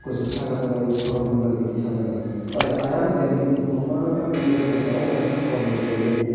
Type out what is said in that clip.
kosok saka tangoi photo bomani tisamani o jaga ayang belding kobangma ke nogjak tangka oboni kaisa hor ni belding.